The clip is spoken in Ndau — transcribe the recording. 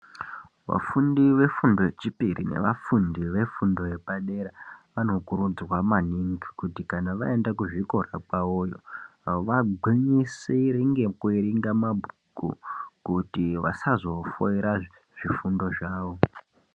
Vafundi vefundo yechipiri nevafundi vefundo yepadera vanokuridzwa maningi kuti kana vaende kuzvikora kwavoyo vagwinyisire ngekuerenga mabhuku kuti vasazofoira zvifundo zvavo.